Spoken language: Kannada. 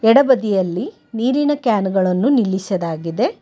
ಎಡಬದಿಯಲ್ಲಿ ನೀರಿನ ಕ್ಯಾನ ಗಳನ್ನು ನಿಲ್ಲಿಸಲಾಗಿದೆ.